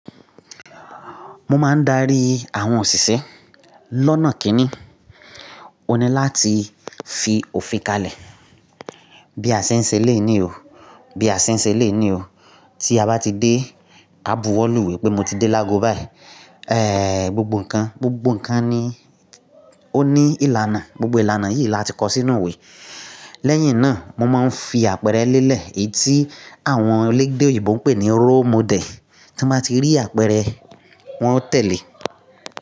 Mo máa ń darí àwọn òṣìṣẹ́ lọ́nà kíni. Ó ní láti fi òfin kalẹ̀. Bí a ṣe ń ṣe léè ní o. Bí a ṣe ń ṣe léè ní o. Tí a bá ti dé, a bu ọ́ lùwé pé mo ti dé lápò báyìí. Eh, gbogbo nǹkan, gbogbo nǹkan ni ó ní ìlànà. Gbogbo ìlànà yìí la ti kó sínú òwe. Lẹ́yìn náà mo máa ń fi àpẹẹrẹ lélẹ̀ èyí tí àwọn elégde òyìnbó ń pè ní role model. Tí mo bá ti rí àpẹẹrẹ wọn ó tẹ̀lé.